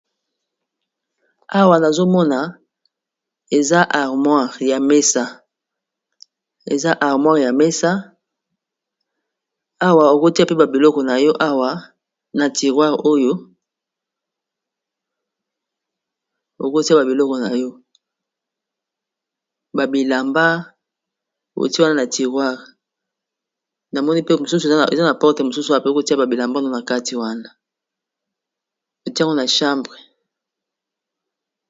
Awa nazomona eza armoire ya mesa, awa okotia pe ba biloko nayo awa na tirware oyo okotia ba biloko nayo ba bilamba otie wana na tirware namoni pe mosusu eza na porte mosusu wa pe kotia ba bilamba no na kati wana otia yango na chambre.